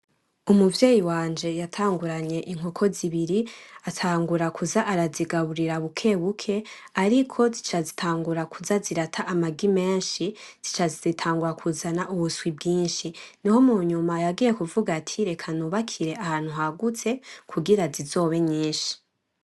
Umuvyeyi wanje yatanguranye inkoko zibiri, atangura kuza aragaburira buke, buke ariko zica zitangura kuza zirata amagi menshi zica zitangura kuzana ubuswi bginshi niho mu nyuma yagiye kuvuga ati "reka nubake ahantu hagutse kugira zizobe nyinshi .